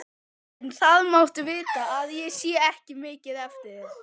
En það máttu vita að ég sé mikið eftir þér.